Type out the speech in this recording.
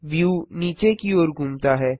view नीचे की ओर घूमता है